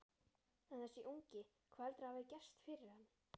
En þessi ungi, hvað heldurðu að hafi gerst fyrir hann?